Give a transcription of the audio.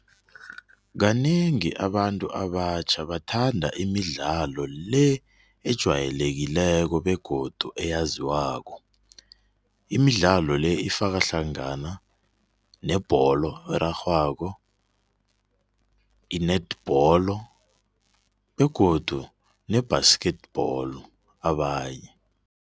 Kanengi abantu abatjha bathanda imidlalo le ejwayelekileko begodu eyaziwako. Imidlalo le ifaka hlangana nebholo erarhwako i-netball begodu ne-basketball abanye.